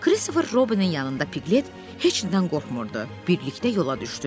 Kristofer Robinin yanında Piqlet heç nədən qorxmurdu, birlikdə yola düşdülər.